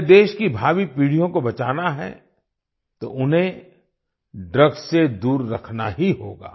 हमें देश की भावी पीढ़ियों को बचाना है तो उन्हें ड्रग्स से दूर रखना ही होगा